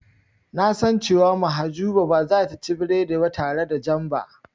Na san cewa Mahjuba ba zata ci biredi ba tare da jam ba.